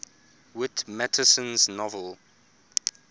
whit masterson's novel